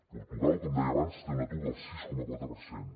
portugal com deia abans té un atur del sis coma quatre per cent